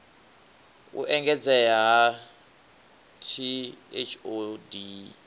u engedzea ha t hod